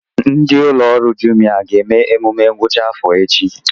Ndị ụlọ ọrụ Jumia ga-eme emume ngwụcha afọ echi